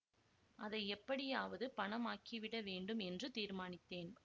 அதை எப்படியாவது பணம் ஆக்கி விட வேண்டும் என்று தீர்மானித்தேன்